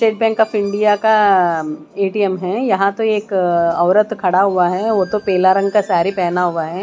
State Bank of India का ATM है यहां तो एक औरत खड़ा हुआ है वो तो पेला रंग का सारी पहना हुआ है।